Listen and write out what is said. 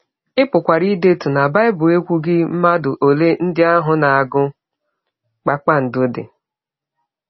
Ị pụkwara ịdetụ na Bible ekwughị mmadụ ole ndị ahụ na - agụ kpakpando dị.